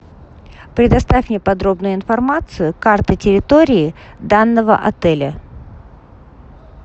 предоставь мне подробную информацию карты территории данного отеля